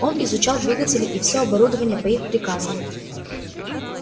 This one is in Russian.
он изучал двигатели и все оборудование по их приказам